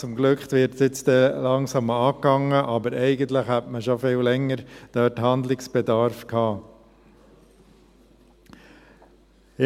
Zum Glück wird dies jetzt langsam angegangen, aber eigentlich hätte man dort schon viel länger Handlungsbedarf gehabt.